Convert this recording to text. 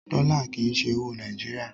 Dọ́là kì í ṣe owó Nàìjíríà.